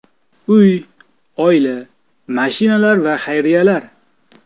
Uy, oila, mashinalar va xayriyalar.